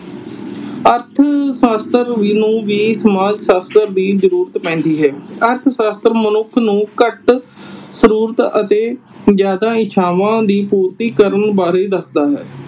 ਅਰਥ ਸ਼ਾਸਤਰ ਨੂੰ ਵੀ ਸਮਾਜ ਸ਼ਾਸਤਰ ਦੀ ਜਰੂਰਤ ਪੈਂਦੀ ਹੈ। ਅਰਥ ਸ਼ਾਸਤਰ ਮਨੁੱਖ ਨੂੰ ਘੱਟ ਜਰੂਰਤ ਅਤੇ ਜਿਆਦਾ ਇੱਛਾਵਾਂ ਦੀ ਪੂਰਤੀ ਕਰਨ ਬਾਰੇ ਦੱਸਦਾ ਹੈ।